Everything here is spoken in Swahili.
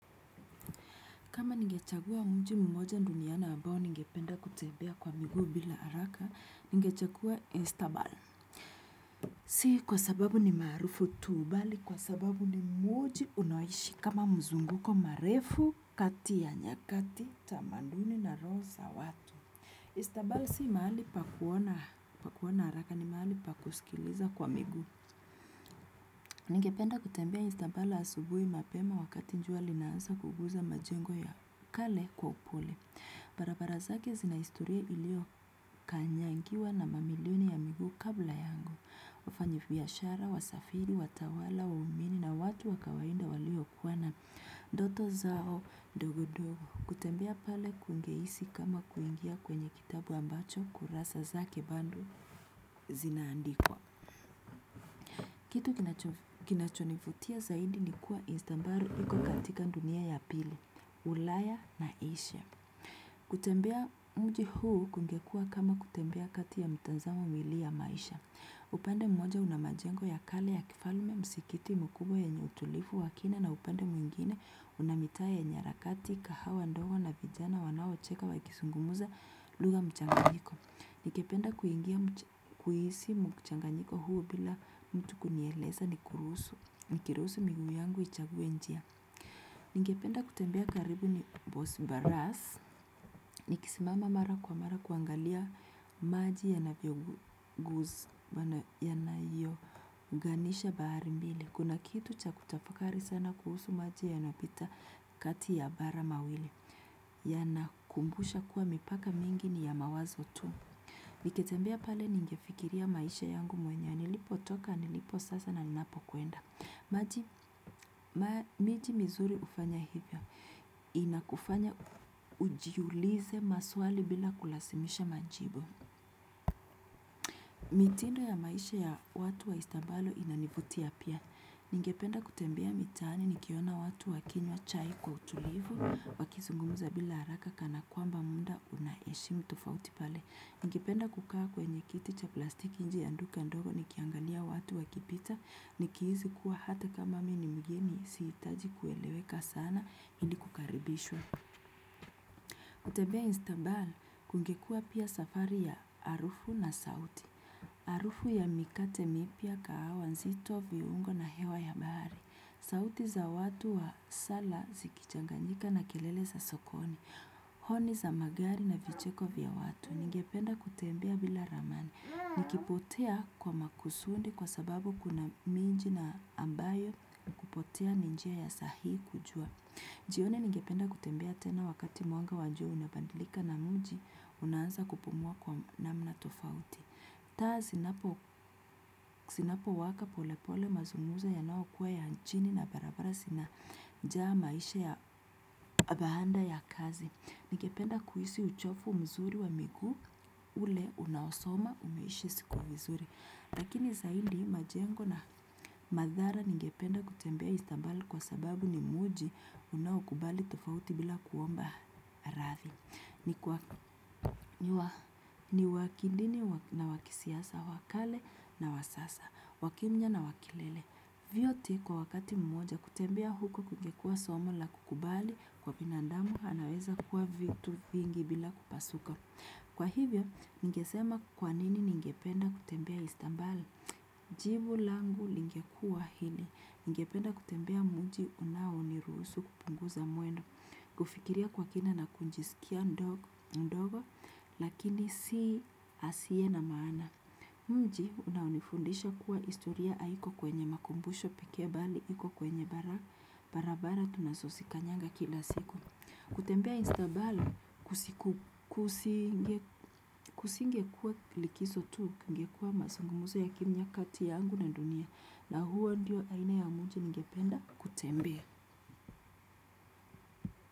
Kama nigechagua mji mmoja duniani abao nigependa kutebea kwa migu bila haraka, nigechagua Instabal. Si kwa sababu ni maarufu tu. Bali kwa sababu ni mmoji unoishi kama mzunguko marefu, kati ya nyakati, tamanduni na roho sa watu. Istabal si mahali pakuona haraka ni mahali pakusikiliza kwa miguu. Nigependa kutembea Instabal asubuhi mapema, wakati njua linansa kuguza majengo ya kale kwa upole. Barabara zake zinaistoria ilio kanyangiwa na mamiliuni ya miguu kabla yangu. Ufanyibiashara, wasafiri, watawala, waumini na watu wa kawaida walio kuwana doto zao dogodogo. Kutembea pale kungehisi kama kuingia kwenye kitabu ambacho kurasa zake bando zinaandikwa. Kitu kinachonivutia zaidi, ni kuwa Instambaru iko katika dunia ya pili. Ulaya na Asia. Kutembea mji huu kungekua kama kutembea kati ya mitazamo miwili ya maisha. Upande mmoja una majengo ya kali ya kifalme, msikiti mkubwa yenye utulivu wa kina na upande mwingine una mitaa yenye harakati kahawa ndogo na vijana wanaocheka wakizungumza lugha mchanganyiko. Nikependa kuingia kuhisi mchanganyiko huu bila mtu kunieleza ni kuruhusu, nikiruhusu miguu yangu ichaguwe njia. Ningependa kutembea karibu ni boss baras. Nikisimama mara kwa mara kuangalia maji yanavyo guz ya na yo ganisha bahari mbili. Kuna kitu cha kutafakari sana kuhusu maji yanopita kati ya bara mawili. Ya na kumbusha kuwa mipaka mingi ni ya mawazo tu. Niketembea pale ningefikiria maisha yangu mwenye. Nilipotoka, niliposasa na ninapo kuenda. Miji mizuri ufanya hivyo. Inakufanya ujiulize maswali bila kulazimisha majibu. Mitindo ya maisha ya watu wa Istambalo inanivutia apia. Ningependa kutembea mitaani nikiona watu wakinywa chai kwa utulivu, wakizungumza bila haraka kana kwamba muda unaehishimu tofauti pale. Ningependa kukaa kwenye kiti cha plastiki nje ya duka dogo nikiangalia watu wakipita. Nikihisi kuwa hata kama mi nimgeni, sihitaji kueleweka sana ili kukaribishwa. Kutebea Instambal kungekua pia safari ya arufu na sauti. Arufu ya mikate mipya, kahawa nzito, viungo na hewa ya bahari. Sauti za watu wasala zikichanganyika na kelele za sokoni. Honi za magari na vicheko vya watu. Nigependa kutembea bila ramani. Nikipotea kwa makusundi kwa sababu kuna minji na ambayo kupotea ni njia ya saahii kujua. Jioni ningependa kutembea tena wakati mwanga wa jua inabandilika na mji, unaanza kupumua kwa namna tofauti. Taa sinapo waka pole pole mazungumzo ya nao kuwa ya nchini na barabara sinaja maisha ya bahanda ya kazi. Nigependa kuhisi uchofu mzuri wa miguu, ule unaosoma umeishi siku vizuri. Lakini saidi majengo na madhara ningependa kutembea Istambal kwa sababu ni muji unaokubali tofauti bila kuomba rathi. Ni wakidini na wakisiasa, wakale na wasasa, wakimya na wakilele. Vyote kwa wakati mmoja. Kutembea huko kugekua somo la kukubali kwa binandamu anaweza kukuwa vitu vingi bila kupasuka. Kwa hivyo, ningesema kwanini ningependa kutembea. Istambal? Jivu langu lingekua hili, ningependa kutembea mji unaoniruhusu kupunguza mwendo, kufikiria kwa kina na kunjisikia ndogo, lakini si asiye na maana. Mji unaonifundisha kuwa istoria aiko kwenye makumbusho pekee bali, iko kwenye barabara tunasosikanyanga kila siku. Kutembea Instabali kusinge kuwa likizo tu kungekua masungumuzo ya kimya kati ya angu na dunia na huo ndio aina ya muji ngependa kutembea.